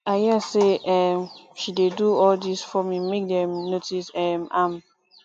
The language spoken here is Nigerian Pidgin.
i hear say um she dey do all dis forming make dem notice um am